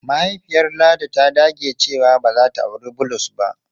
Mahaifiyar Ladi ta dage cewa ba za ta auri Bulus ba.